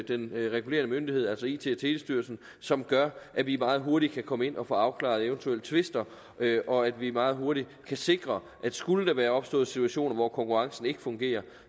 den regulerende myndighed altså it og telestyrelsen som gør at vi meget hurtigt kan komme ind og få afklaret eventuelle tvister og at vi meget hurtigt kan sikre at skulle der være opstået situationer hvor konkurrencen ikke fungerer